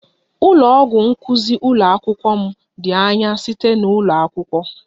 Ụlọ ọgwụ nkuzi ụlọ akwụkwọ m dị anya site na ụlọ akwụkwọ